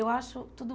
Eu acho tudo...